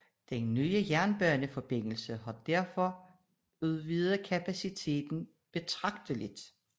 Den nye jernbaneforbindelse har således udvidet kapaciteten betragteligt